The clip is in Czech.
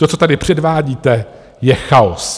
To, co tady předvádíte, je chaos!